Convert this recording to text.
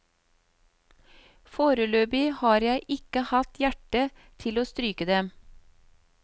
Foreløpig har jeg ikke hatt hjerte til å stryke dem.